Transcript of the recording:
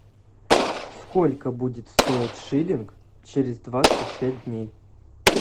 сколько будет стоить шиллинг через двадцать пять дней